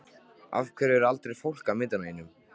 Af hverju er aldrei fólk á myndunum þínum?